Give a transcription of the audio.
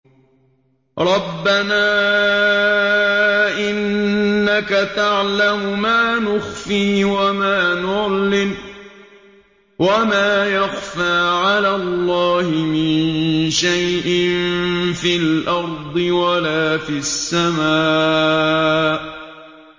رَبَّنَا إِنَّكَ تَعْلَمُ مَا نُخْفِي وَمَا نُعْلِنُ ۗ وَمَا يَخْفَىٰ عَلَى اللَّهِ مِن شَيْءٍ فِي الْأَرْضِ وَلَا فِي السَّمَاءِ